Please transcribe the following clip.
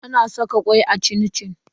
Ana saka kwai a cin-cin?